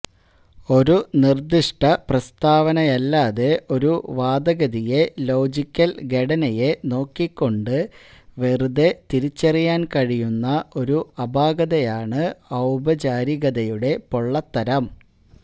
ഒരു നിർദ്ദിഷ്ട പ്രസ്താവനയല്ലാതെ ഒരു വാദഗതിയെ ലോജിക്കൽ ഘടനയെ നോക്കിക്കൊണ്ട് വെറുതെ തിരിച്ചറിയാൻ കഴിയുന്ന ഒരു അപാകതയാണ് ഔപചാരികതയുടെ പൊള്ളത്തരം